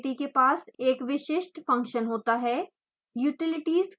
प्रत्येक utility के पास एक विशिष्ट फंक्शन होता है